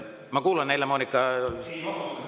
Ma kuulan Helle-Moonika …